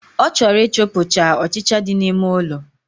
O choro i chupu cha ochicha di na ime ụlọ